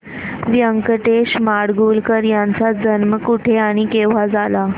व्यंकटेश माडगूळकर यांचा जन्म कुठे आणि केव्हा झाला